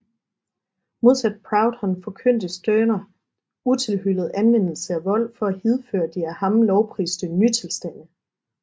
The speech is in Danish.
Modsat Proudhon forkyndte Stirner utilhyllet anvendelse af vold for at hidføre de af ham lovpriste ny tilstande